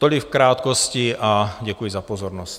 Tolik v krátkosti a děkuji za pozornost.